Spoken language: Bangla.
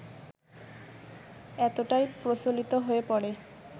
এতটাই প্রচলিত হয়ে পড়ে